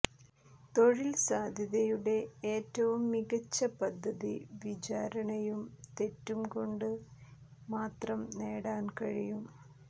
തൊഴിൽ സാധ്യതയുടെ ഏറ്റവും മികച്ച പദ്ധതി വിചാരണയും തെറ്റും കൊണ്ട് മാത്രം നേടാൻ കഴിയും